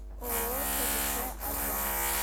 ооо цдс альянс